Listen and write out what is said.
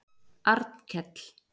Arnkell